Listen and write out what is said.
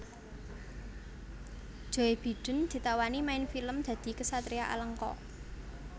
Joe Biden ditawani main film dadi ksatria Alengka